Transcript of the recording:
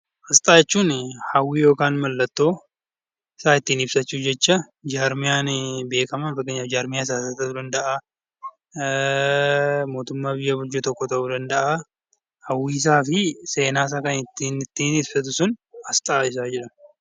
Asxaa jechuun mallattoo yookaan waan tokko ittiin ibsachuuf jecha jarmiyaan beekamaan fakkeenyaaf kan siyaasaa mootummaa biyya bulchu tokko ta'uu danda'a. Hawwiisaa fi seenaasaa kan ittiin ibsatu sun asxaa jennaan